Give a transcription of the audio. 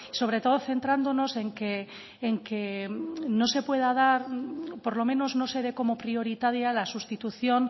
sobre todo centrándonos en que por lo menos no se dé como prioritaria la sustitución